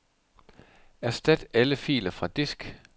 Erstat alle filer fra disk.